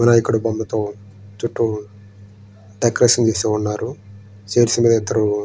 వినాయకుడి బొమ్మతో డెకరేషన్ చేసి ఉన్నారు.